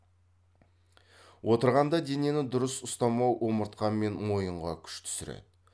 отырғанда денені дұрыс ұстамау омыртқа мен мойынға күш түсіреді